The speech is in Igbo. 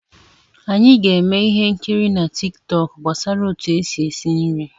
Anyị ga-eme ihe nkiri na Tik tọk gbasara otu esi esi nri.